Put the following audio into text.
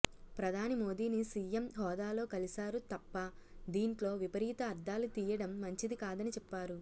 ప్రధాని మోదీని సీఎం హోదాలో కలిసారు తప్ప దీంట్లో విపరీత అర్థాలు తీయడం మంచిది కాదని చెప్పారు